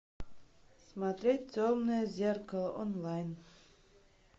смотреть темное зеркало онлайн